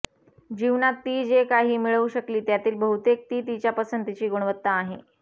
जीवनात ती जे काही मिळवू शकली त्यातील बहुतेक ती तिच्या पसंतीची गुणवत्ता आहे